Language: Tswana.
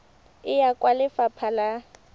e ya kwa lefapha la